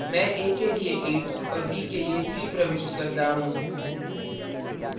मैं a के लिए 8 और b के लिए 3 प्रविष्ट करता हूँ